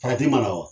mana wa